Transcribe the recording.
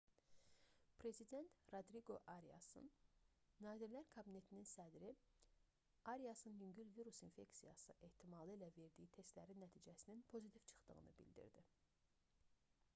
prezident rodriqo ariasın nazirlər kabinetinin sədri ariasın yüngül virus infeksiyası ehtimalı ilə verdiyi testlərin nəticəsinin pozitiv çıxdığını bildirdi